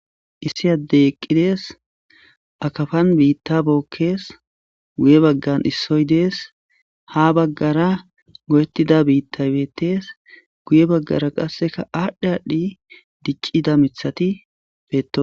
issi addey eqqidees akafan biitta bookkees guye baggan issoy dees ha baggara go7ettida biitta bettees guye baggara qasseka aadhdhe aadhdhi diccida mithati peeto